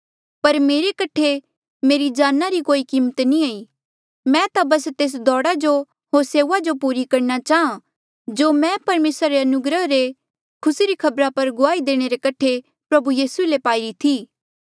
पर मेरे कठे मेरे जाना री कोई कीमत नी ई मैं ता बस तेस दौड़ा जो होर सेऊआ जो पूरी करणा चाहां जो मैं परमेसरा री अनुग्रह रे खुसी री खबरा पर गुआही देणे रे कठे प्रभु यीसू ले पाईरी थी